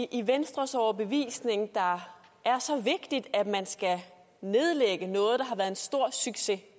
i venstres overbevisning der er så vigtigt at man skal nedlægge noget der har været en stor succes